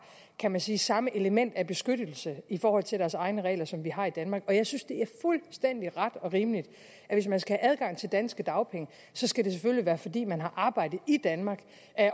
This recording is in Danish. kan man sige samme element af beskyttelse i forhold til deres egne regler som vi har i danmark og jeg synes det er fuldstændig ret og rimeligt at hvis man skal have adgang til danske dagpenge så skal det selvfølgelig være fordi man har arbejdet i danmark